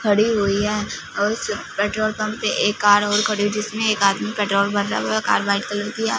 खड़ी हुई है उस पेट्रोल पंप पे एक कार और खड़ी जिसमें एक आदमी पेट्रोल भर रहा है वह कार व्हाइट कलर की है।